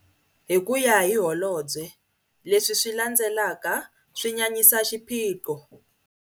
Hi ku ya hi Holobye, leswi swi landzelaka swi nyanyisa xiphiqo.